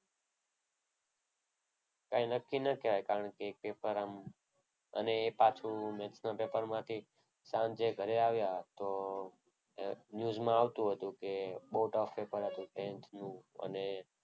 કંઈ નક્કી ન કહેવાય. કારણ કે એક પેપર આમ અને એ બાજુ maths ના પેપરમાં કે સાંજે ઘરે આવ્યા તો ન્યુઝમાં આવતું હતું. કે બહુ tough પેપર હતું tenth અને